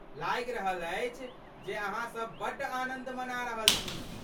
लागि रहल अछि जे अहाँसभ बड्ड आनन्द मना रहल छी।